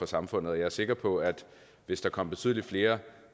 samfundet og jeg er sikker på at hvis der kom betydelig flere